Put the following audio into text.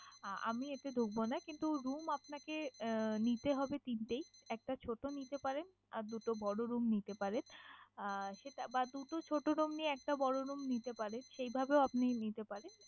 আহ আমি এতে ঢুকবোনা কিন্তু room আপনাকে আহ নিতে হবে তিনটেই। একটা ছোটো নিতে পারেন আর দুটো বড় room নিতে পারেন আহ সেটা বা দুটো ছোট room নিয়ে, একটা বড় room নিতে পারেন। সেইভাবেও আপনি নিতে পারেন।